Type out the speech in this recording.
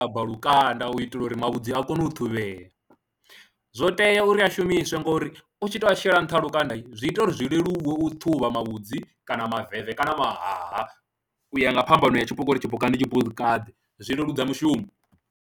A bva lukanda u itela uri mavhudzi a kone u ṱhuvhea, zwo tea uri a shumiswe ngori u tshi tou a shela nṱha ha lukanda zwi ita uri zwi leluwe u ṱhuvha mavhudzi kana maveve kana mahaha u ya nga phambano ya tshipuka uri tshipuka ndi tshipakaḓe zwi leludza mushumo.